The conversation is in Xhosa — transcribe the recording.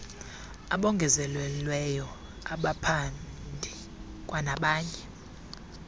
abongezelelweyo abaphandi kwanabanye